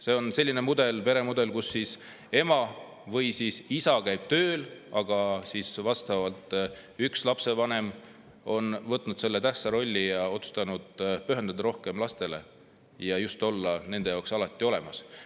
See on selline peremudel, kus ema või isa käib tööl ja lapsevanem on võtnud tähtsa rolli, otsustanud pühenduda rohkem lastele ja olla nende jaoks alati olemas.